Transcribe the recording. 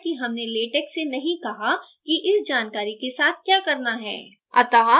इसका कारण है कि हमने latex से नहीं कहा कि इस जानकारी के साथ the करना है